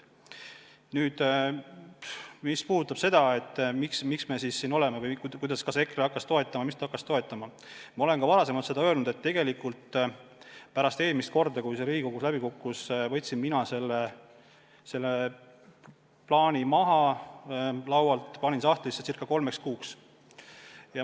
Mis puudutab seda, miks me siin oleme, miks EKRE hakkas mõtet toetama, siis ma olen ka varem öelnud, et pärast eelmist korda, kui see idee Riigikogus läbi kukkus, võtsin mina selle plaani laualt maha ja panin ca kolmeks kuuks sahtlisse.